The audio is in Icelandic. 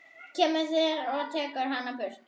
Kemur og tekur hana burt.